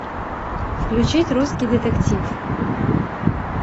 включить русский детектив